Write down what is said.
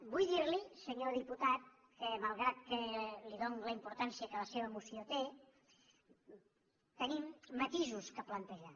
vull dir li senyor diputat que malgrat que li dono la importància que la seva moció té tenim matisos per plantejar